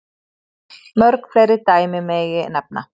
Mörg fleiri dæmi megi nefna.